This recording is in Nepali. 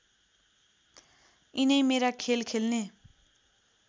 यिनै मेरा खेल खेल्ने